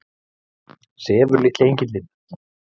Sefur litli engillinn?